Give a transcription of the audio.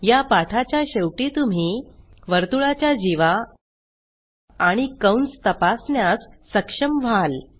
ह्या पाठाच्या शेवटी तुम्ही वर्तुळाच्या जीवा आणि कंस तपासण्यास सक्षम व्हाल